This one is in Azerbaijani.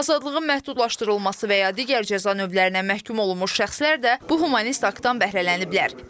Azadlığın məhdudlaşdırılması və ya digər cəza növlərinə məhkum olmuş şəxslər də bu humanist aktdan bəhrələniblər.